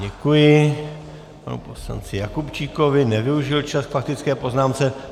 Děkuji panu poslanci Jakubčíkovi, nevyužil čas k faktické poznámce.